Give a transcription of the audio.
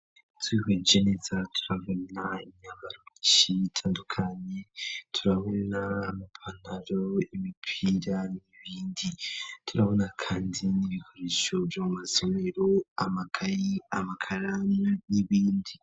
Twiheje neza turabona inyambaro itandukanye turabona ipataro imipira n'ibindi turabona kandi n'ibikoresho vyo mumasomero amakaye amakaran n'ibindi.